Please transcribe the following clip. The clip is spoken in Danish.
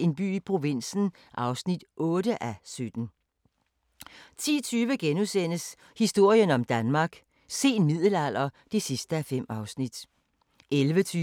En by i provinsen (10:17) 21:40: Flådens historie (6:7)* 22:40: Historiequizzen: Københavns Rådhus * 23:10: Mord i middelalderen – mordet på Knud Lavard (4:4)*